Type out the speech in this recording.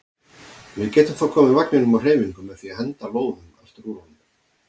Við getum þá komið vagninum á hreyfingu með því að henda lóðum aftur úr honum.